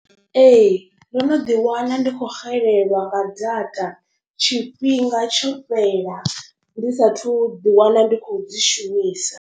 Ee ndo no ḓi wana ndi khou xelelwa nga data tshifhinga tsho fhela ndi sathu ḓi wana ndi khou dzi shumisa.